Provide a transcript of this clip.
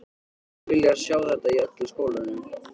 Mynduð þið vilja sjá þetta í öllum skólanum?